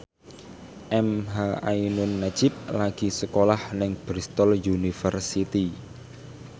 emha ainun nadjib lagi sekolah nang Bristol university